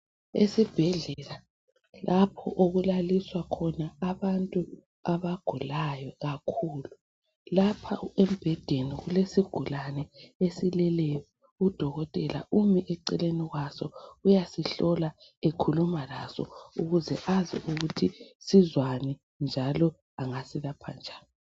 Esibhedlela lapho okulaliswa khona abantu abagulayo kakhulu lapha embhedeni kulesigulane esileleyo udokotela umi eceleni kwaso uyasihlola ekhuluma laso ukuze azi ukuthi sizwani njalo engasilapha njani.